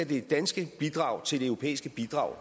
det danske bidrag til det europæiske bidrag